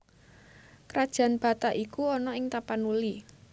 Krajan Batak iku ana ing Tapanuli